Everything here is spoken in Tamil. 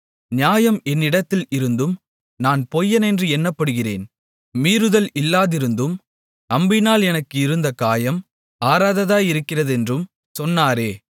நியாயம் என்னிடத்தில் இருந்தும் நான் பொய்யனென்று எண்ணப்படுகிறேன் மீறுதல் இல்லாதிருந்தும் அம்பினால் எனக்கு இருந்த காயம் ஆறாததாயிருக்கிறதென்றும் சொன்னாரே